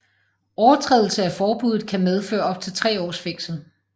Overtrædelse af forbuddet kan medføre op til tre års fængsel